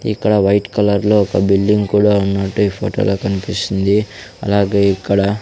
ఇక్కడ white colour లో ఒక బిల్డింగ్ కూడా ఉన్నట్టు ఈ ఫోటో లో కనిపిస్తుంది అలాగే ఇక్కడ.